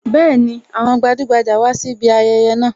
Bẹẹni, àwọn gbajugbaja wá sí ibi ayẹyẹ náà